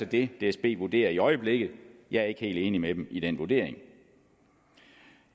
det dsb vurderer i øjeblikket jeg er ikke helt enig med dem i den vurdering